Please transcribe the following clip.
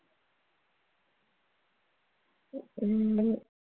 உங்க